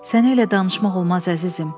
Sənlə elə danışmaq olmaz, əzizim.